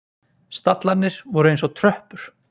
Stallarnir voru eins og tröppur.